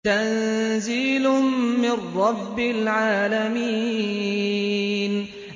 تَنزِيلٌ مِّن رَّبِّ الْعَالَمِينَ